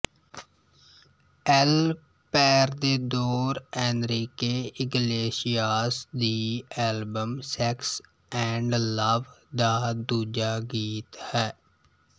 L Perdedor Enrique Iglesias ਦੀ album sex and love ਦਾ ਦੂਜਾ ਗੀਤ ਹੈ